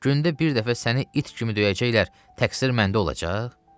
Gündə bir dəfə səni it kimi döyəcəklər, təqsir məndə olacaq?